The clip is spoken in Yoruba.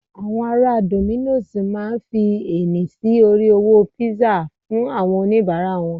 àwọn ará dominos ma fi ẹni sí orí owó pizza fún àwọn onibara wan